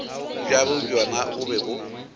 bjabo bjona bo be bo